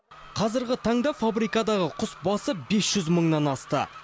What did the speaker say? қазіргі таңда фабрикадағы құс басы бес жүз мыңнан асты